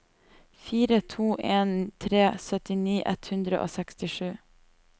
fire to en tre syttini ett hundre og sekstisju